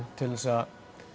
til þess að